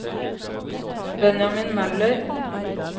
Benjamin Møller